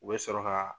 U bɛ sɔrɔ ka